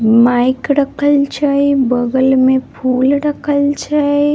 Mic रखल छै बगल मे फूल रखल छै।